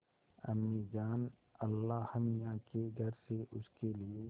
अम्मीजान अल्लाहमियाँ के घर से उसके लिए